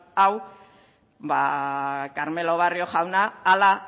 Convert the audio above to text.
hau ba carmelo barrio jaunak hala